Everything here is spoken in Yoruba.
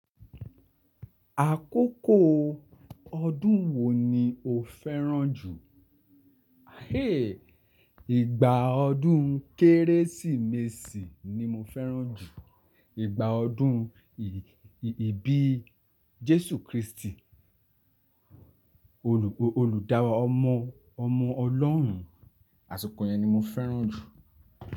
Àkókò ọdún wo ni o fẹ́ràn jù? Ìgbà ọdún Kérésìmesì ni mo fẹ́ràn jù. Ìgbà ọdún ìbí Jésù Kristi, olùdaraómọ ọmọ Ọlọ́run, àsìkò yẹn ni mo fẹ́ràn jù.